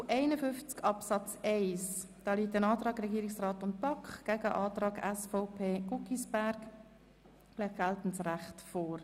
Zu Artikel 51 Absatz 1 liegt ein Antrag von Regierungsrat und BaK gegen einen Antrag SVP Guggisberg vor.